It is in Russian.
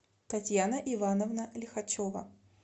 татьяна ивановна лихачева